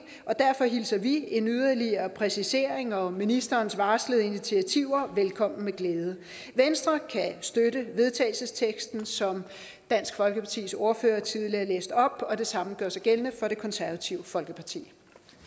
og derfor hilser vi en yderligere præcisering og ministerens varslede initiativer velkommen med glæde venstre kan støtte vedtagelsesteksten som dansk folkepartis ordfører tidligere læste op og det samme gør sig gældende for det konservative folkeparti